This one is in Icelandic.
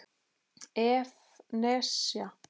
ef. nesja